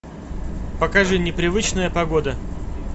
покажи непривычная погода